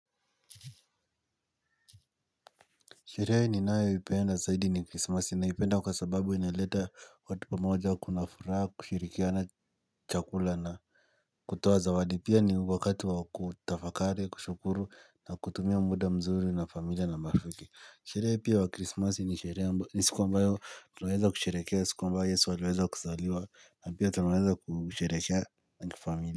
Sherehe ninayoipenda zaidi ni krismasi na ninaipenda kwa sababu inaleta watu pamoja kuna furaha kushirikiana chakula na kutoa zawadi pia ni wakati wa kutafakari kushukuru na kutumia muda mzuri na familia na marafiki Sherehe pia wa krisimasi ni sherehe ambayo ni siku ambayo tunaweza kusherehekea siku ambayo yesu aliweza kuzaliwa na pia tunaweza kusherehekea na kifamilia.